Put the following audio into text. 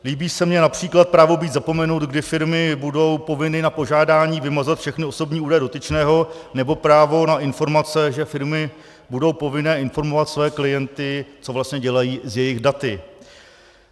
Líbí se mi například právo být zapomenut, kdy firmy budou povinny na požádání vymazat všechny osobní údaje dotyčného, nebo právo na informace, že firmy budou povinny informovat své klienty, co vlastně dělají s jejich daty.